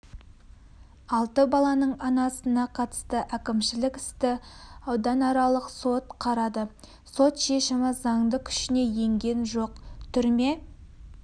алты баланың анасына қатысты әкімшілік істі ауданаралық сот қарады сот шешімі заңды күшіне енген жоқ түрме